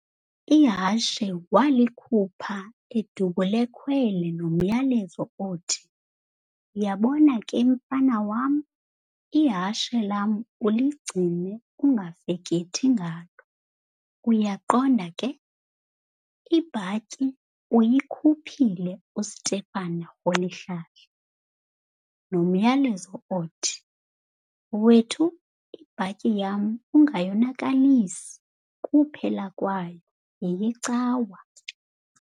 Ihashe waalikhupha uDubul'ekhwele nomyalezo othi, - "Yabona ke mfana wam ihashe lam uligcine ungafekethi ngalo, uyaqonda ke? Ibhatyi uyikhuphile u"Stephen Rholihlahla" nomyalezo othi, - "Wethu, ibhatyi yam ungayonakalisi, kuphela kwayo yeyeCawa."